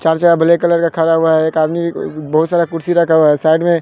black colour का खड़ा हुआ है एक आदमी बहुत सारा कुर्सी रखा हुआ है साइड में--